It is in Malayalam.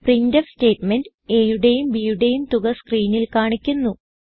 പ്രിന്റ്ഫ് സ്റ്റേറ്റ്മെന്റ് aയുടെയും bയുടെയും തുക സ്ക്രീനിൽ കാണിക്കുന്നു